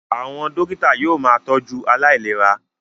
Àwọn dókítà yóò máa tọ́jú aláìlera